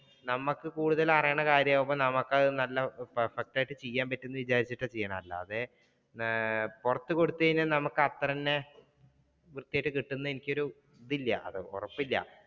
നമുക്ക് കൂടുതൽ അറിയുന്ന കാര്യമാവുമ്പോൾ നമുക്ക് അത് നല്ല perfect ആയിട്ട് ചെയ്യാൻ പറ്റും എന്ന് വിചാരിച്ചിട്ടാണ് ചെയ്യുന്നത്, അല്ലാതെ പുറത്തു കൊടുത്തു കഴിഞ്ഞാൽ നമുക്ക് അത്ര തന്നെ കൃത്യാമായിട്ട് കിട്ടുന്ന് എനിക്കൊരു ഇതില്ല ഉറപ്പില്ല.